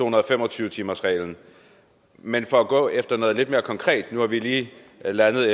og fem og tyve timersreglen men for at gå efter noget lidt mere konkret nu har vi lige landet